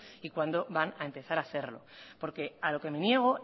y cuándo van a empezar a hacerlo porque a lo que me niego